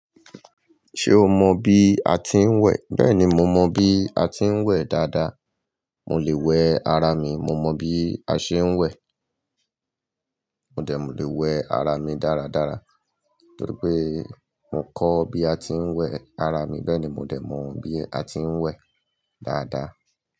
Ṣé o mọ bí a ti ń wẹ̀? Bẹ́ẹ̀ni, mo mọ bí a ti ń wẹ̀ dáadáa. Mo lè wẹ ara mi, mo mọ bí a ńṣe ń wẹ̀. Mo dẹ̀ mú lè wẹ ara mi dáradára torí pé mò ń kọ́ bí a ti ń wẹ̀ ara mi, bẹ́ẹ̀ ni mo dẹ̀ mọ bí a ti ń wẹ̀ dáadáa.